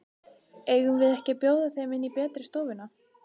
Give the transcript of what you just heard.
Eigum við ekki að bjóða þeim inn í betri stofuna?